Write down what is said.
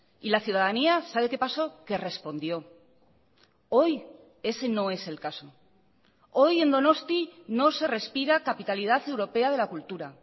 y la ciudadanía sabe qué paso que respondió hoy ese no es el caso hoy en donosti no se respira capitalidad europea de la cultura